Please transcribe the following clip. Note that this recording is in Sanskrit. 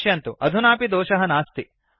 पश्यन्तु अधुनापि दोषः नास्ति